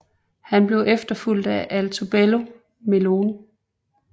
Han blev efterfulgt af Altobello Melone